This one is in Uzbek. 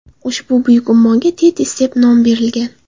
Ushbu buyuk ummonga Tetis deb nom berilgan.